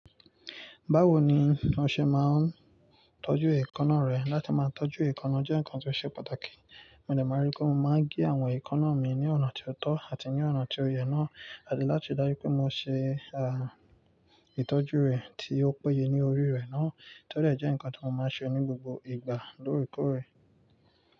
Báwo ni o ṣe máa ń tọ́jú èékàná rẹ, láti máa tọ́ just èékàná jẹ́ ǹkan tó ṣe pàtàkì. Mo dẹ̀ máa rí pé mo máa ń gé àwọn èékánná mi ní ọ̀nà tó tọ́ àti ní ọ̀nà tí ó yẹ náà. Àti láti dájú pé mo ṣe, ah, ìtọ́jú rẹ̀ tí ó péye ní orí rẹ̀ náà. Tẹ́lẹ̀ jẹ́ nǹkan tí mo máa ń ṣe ní gbogbo ìgbà lóorekoòrè.